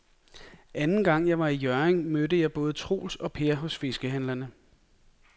Anden gang jeg var i Hjørring, mødte jeg både Troels og Per hos fiskehandlerne.